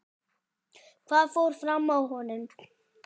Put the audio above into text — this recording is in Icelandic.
Hvað fór fram á honum?